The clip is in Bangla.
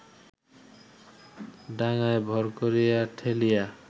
ডাঙ্গায় ভর করিয়া ঠেলিয়া